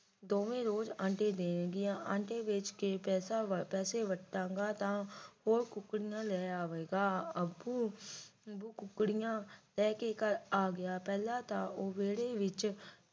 ਦੋਵੇਂ ਰੋਜ਼ ਆਂਡੇ ਦੇਣਗੀਆਂ ਆਂਡੇ ਵੇਚ ਕੇ ਪੈਸੇ ਵੱਟਾ ਵੱਟਾ ਗਾ ਤਾਂ ਹੋਰ ਟੁਕੜੀਆਂ ਲੈ ਆਵੇਗਾ ਅਪੁ ਉਹ ਟੁਕੜੀਆਂ ਲੈ ਕੇ ਘਰ ਆ ਗਿਆ ਪਹਿਲਾਂ ਉਹ ਵਿਹੜੇ ਵਿੱਚ